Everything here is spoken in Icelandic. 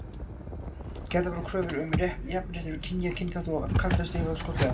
Gerðar voru kröfur um jafnrétti kynja og kynþátta og og kalda stríðið var skollið á.